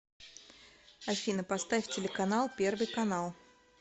афина поставь телеканал первый канал